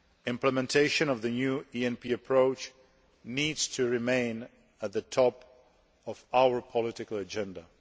Implementation of the new ENP approach needs to remain at the top of our political agenda.